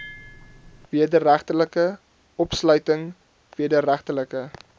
wederregtelike opsluiting wederregtelike